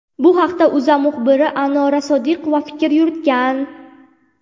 Bu haqda O‘zA muxbiri Anora Sodiqova fikr yuritgan .